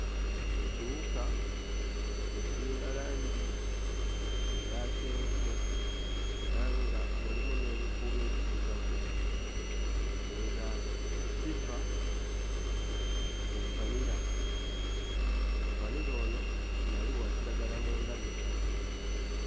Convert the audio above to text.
Ekiwuka ekiyina langi eya kyenvu era nga mulimu n'ebikuubo ebiddugavu nga kiva ku vvanira, vvanira ono yali wa kiragala mu ndabika.